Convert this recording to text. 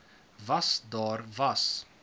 was daar was